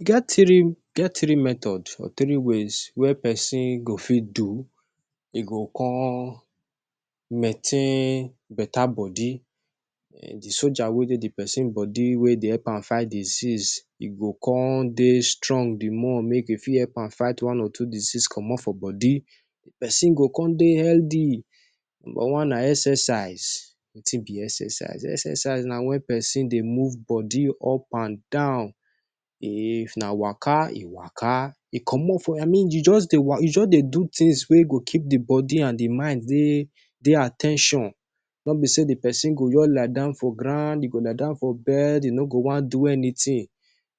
E get three, e get three method or three ways wey pesin go fit do, e go come maintain betta body. Ehn, di soldier wey dey for di pesin body, wey dey help am fight disease, e go come dey strong di more, make e fit help am fight one or two disease comot for body. Pesin go come dey healthy. Number one na exercise. Wetin be exercise? Exercise na wen pesin dey move body up and down. If na waka e waka, e comot from, I mean you just dey wa you just dey do tins wey go keep di body and di mind dey, dey at ten tion. No be say di pesin go just lie down for ground, e go lie down for bed, e no go wan do anytin.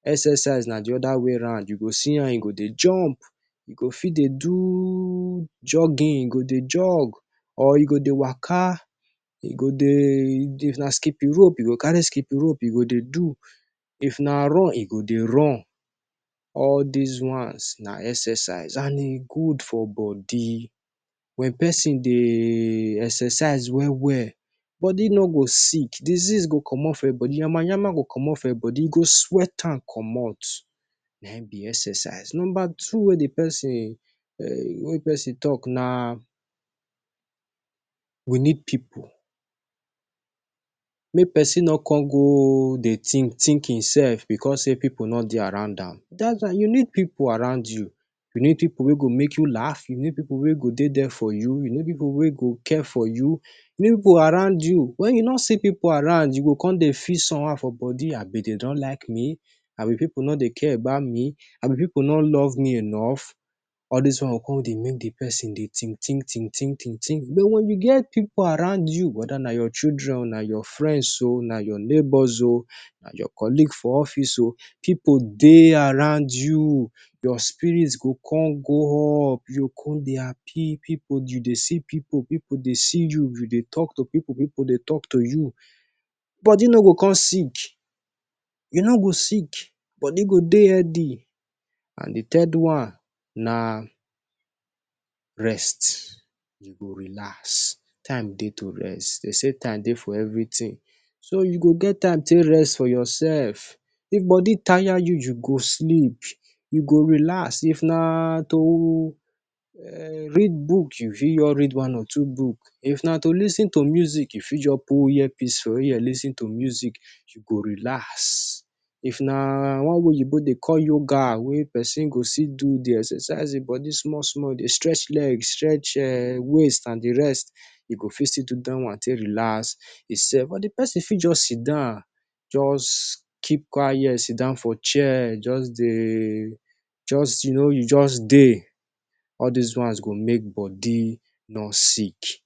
Exercise na di oda way round. You go see how e go dey jump, e go fit dey do jogging, you go dey jog, or you go dey waka. e go dey If na skipi rope, you go carry skippin rope, you go dey do. If na run, e go dey run. All dis ones na exercise, and e good for body. Wen pesin dey exercise well well, body no go sick. Disease go comot from im body. Nyama-nyama go comot from im body. You go sweat am comot. Na him be exercise. Number two wey di pesin, wey pesin tok na, you need people. Make pesin no come go dey think-think im sef bicos say people no dey around am. Das why you need people around you. You need people wey go make you laugh. You need people wey go dey dia for you. You need people wey go care for you. People around you. Wen you no see people around, you go come dey feel somehow for body "Abi dem no like me? Abi people no dey care about me? Abi people no love me enough?" All dis one go come dey make di pesin dey think think think think think think. But wen you get people around you weda na your children, na your friends o, na your neibors o, na your colleague for office o people dey around you, your spirit go come go up. You come dey happy. You dey see people, people dey see you. You dey talk to people, people dey talk to you. Body no go come sick. You no go sick. Body go dey healthy. And di third one na, rest. You go relax. Time dey to rest. Dey say time dey for evritin. So you go get time take rest for yoursef. If body tire you, go sleep. You go relax. If na to,[um]read book, you fit just read one or two book. If na to lis ten to music, you fit just put earpiece for ear, lis ten to music, you go relax. If na one wey Oyinbo dey call yoga, wey pesin go still do di exercise im body small small, dey stretch leg, stretch waist and di rest, e go fit see do dat one take relax imsef. Or di pesin fit just sidon, just keep quiet, sidon for chair. Just dey, just you know, just dey. All dis ones go make body no sick.